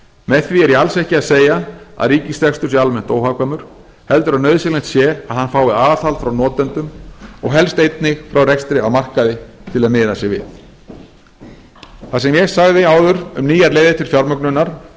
með því er ég alls ekki að segja að ríkisrekstur sé almennt óhagkvæmur heldur að nauðsynlegt sé að hann fái aðhald frá notendum og helst einnig frá rekstri á markaði til að miða sig við það sem ég sagði áður um nýjar leiðir til fjármögnunar og